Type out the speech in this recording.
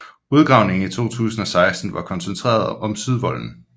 Udgravningen i 2016 var koncentreret om sydvolden